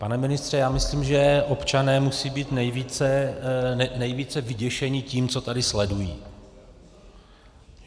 Pane ministře, já myslím, že občané musí být nejvíce vyděšeni tím, co tady sledují.